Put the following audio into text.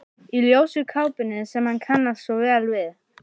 Í ljósu kápunni sem hann kannast svo vel við.